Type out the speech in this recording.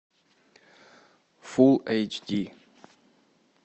фул эйч ди